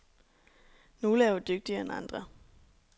Nogle er jo dygtigere end andre.